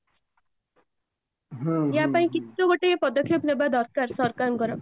ୟା ପାଇଁ କିଛି ତ ଗୋଟେ ପଦକ୍ଷେପ ନବା ଦରକାର ସରକାରଙ୍କର